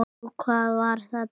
Jú, hvað var þetta?